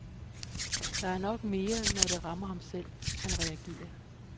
Det er nok mere, når det rammer ham selv, han reagerer.